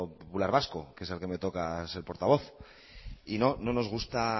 popular vasco que es del que me toca ser portavoz y no no nos gusta